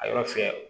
A yɔrɔ fɛ